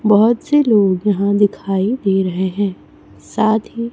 बहोत से लोग यहां दिखाई दे रहे हैं साथ ही--